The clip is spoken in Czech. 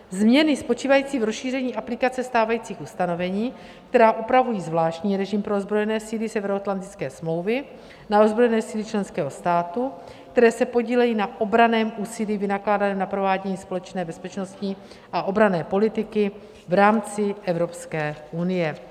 Změny spočívající v rozšíření aplikace stávajících ustanovení, která upravují zvláštní režim pro ozbrojené síly Severoatlantické smlouvy na ozbrojené síly členského státu, které se podílejí na obranném úsilí vynakládaném na provádění společné bezpečnostní a obranné politiky v rámci Evropské unie.